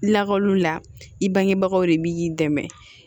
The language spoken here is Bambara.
Lakɔluw la i bangebagaw de bi dɛmɛ